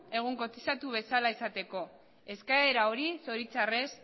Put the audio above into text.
egun kotizatu bezala izateko eskaera hori zoritxarrez